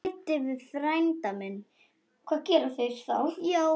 Hvað gera þeir þá?